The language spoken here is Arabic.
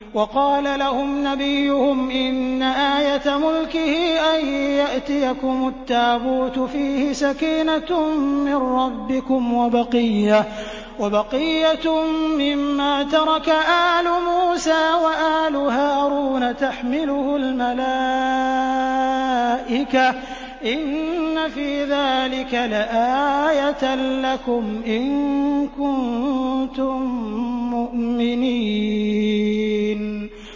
وَقَالَ لَهُمْ نَبِيُّهُمْ إِنَّ آيَةَ مُلْكِهِ أَن يَأْتِيَكُمُ التَّابُوتُ فِيهِ سَكِينَةٌ مِّن رَّبِّكُمْ وَبَقِيَّةٌ مِّمَّا تَرَكَ آلُ مُوسَىٰ وَآلُ هَارُونَ تَحْمِلُهُ الْمَلَائِكَةُ ۚ إِنَّ فِي ذَٰلِكَ لَآيَةً لَّكُمْ إِن كُنتُم مُّؤْمِنِينَ